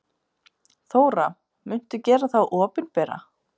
Þóra: Muntu gera þá opinbera?